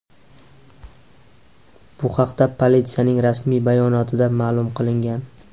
Bu haqda politsiyaning rasmiy bayonotida ma’lum qilingan.